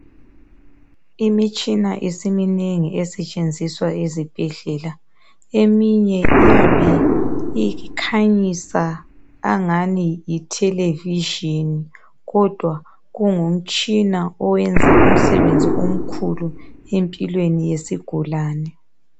Imitshina isiminengi esetshenziswa ezibhedlela eminye iyabe ikhanyisa angani yi Television kodwa kungumtshina oyenza umsebenzi omkhulu empilweni yesigulane